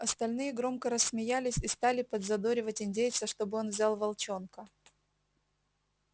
остальные громко рассмеялись и стали подзадоривать индейца чтобы он взял волчонка